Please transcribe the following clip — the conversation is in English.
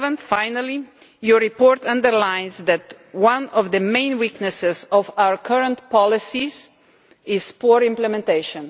Finally, the report underlines that one of the main weaknesses of our current policies is poor implementation.